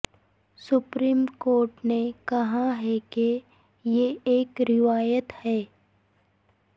supreme court نے کہا ہے کہ یہ ایک روایت ہے